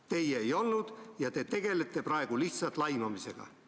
Teie ei olnud ja te tegelete praegu lihtsalt laimamisega.